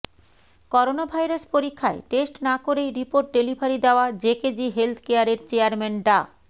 coronavirus পরীক্ষায় test না করেই রিপোর্ট ডেলিভারি দেয়া জেকেজি হেলথকেয়ারের চেয়ারম্যান ডা